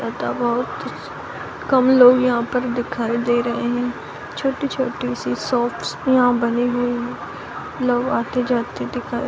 लगता है बहुत कम लोग यहाँ पर दिखाई दे रहे हैं | छोटी-छोटी सी शॉप्स यहाँ बनी हुई है | लोग आते-जाते दिखाई --